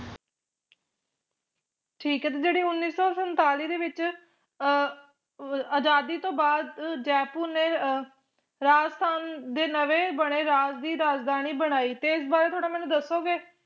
ਠੀਕ ਏ ਤੇ ਜੇਹੜੀ ਉੱਨੀ ਸੋ ਸੰਤਾਲੀ ਦੇ ਵਿਚ ਅਹ ਅਜਾਦੀ ਤੋਂ ਬਾਦ ਜੈਪੁਰ ਨੇ ਅਹ ਰਾਜਸਥਾਨ ਦੇ ਨਵੇਂ ਬਣੇ ਰਾਜ ਦੀ ਰਾਜਧਾਨੀ ਬਣਾਈ ਤੇ ਇਸ ਬਾਰੇ ਥੋੜਾ ਮੈਨੂੰ ਦਸੋਗੇ